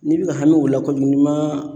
N'i bɛ ka hami o la kojugu n'i ma